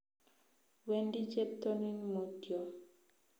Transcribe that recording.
Wendi cheptonin mutyo